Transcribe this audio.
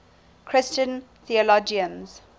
christian theologians